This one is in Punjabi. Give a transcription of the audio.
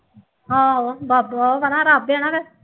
ਆਹੋ ਬਾਅਦ ਚੋ ਆਊਗਾ ਨਾ ਰੱਬ ਇਹਨਾ ਦੇ